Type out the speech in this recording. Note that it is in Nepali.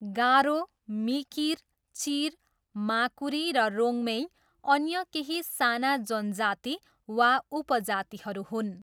गारो, मिकिर, चिर, माकुरी र रोङ्मेई अन्य केही साना जनजाति वा उपजातिहरू हुन्।